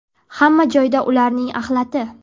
Hamma joyda ularning axlati.